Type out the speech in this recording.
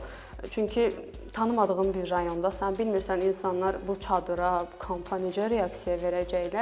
Çünki tanımadığım bir rayondasan, bilmirsən insanlar bu çadıra, bu kampa necə reaksiya verəcəklər.